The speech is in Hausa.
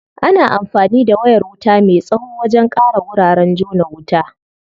Ana anfani da wayar wuta me tsawo wajen ƙara wuraren jona wuta.